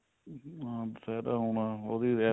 ਅਹ ਦੁਸ਼ਹਿਰਾ ਆਉਣਾ ਉਹ ਵੀ